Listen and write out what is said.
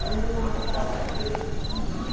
É uma cobra verdinha.